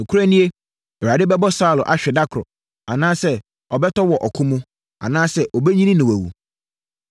Nokorɛ nie, Awurade bɛbɔ Saulo ahwe da koro, anaasɛ ɔbɛtɔ wɔ ɔko mu, anaasɛ ɔbɛnyini na wawu.